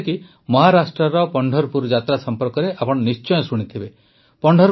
ଯେପରିକି ମହାରାଷ୍ଟ୍ରର ପଂଢରପୁର ଯାତ୍ରା ସମ୍ପର୍କରେ ଆପଣ ନିଶ୍ଚୟ ଶୁଣିଥିବେ